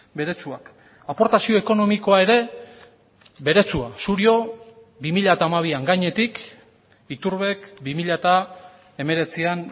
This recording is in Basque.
beretsuak aportazio ekonomikoa ere beretsua surio bi mila hamabian gainetik iturbek bi mila hemeretzian